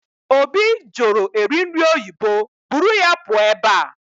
Obi jụrụ eri nri oyibo, buru ya pụọ ebe a!